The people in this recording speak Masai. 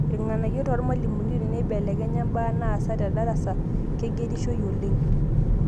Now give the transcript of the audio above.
Irng'anayio toormalimuni" Teneibelekenya imbaa naasa tedarasa, keigerishoi oleng'